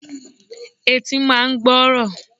Etí máa ń gbọ́ ọ̀rọ̀.